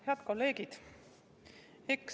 Head kolleegid!